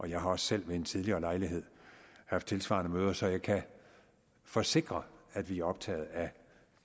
jeg har også selv ved en tidligere lejlighed haft tilsvarende møder så jeg kan forsikre at vi er optaget af